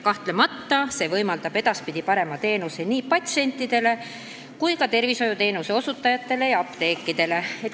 Kahtlemata võimaldab see edaspidi parema teenuse nii patsientidele kui ka tervishoiuteenuse osutajatele ja apteekidele.